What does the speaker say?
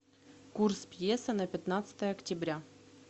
курс песо на пятнадцатое октября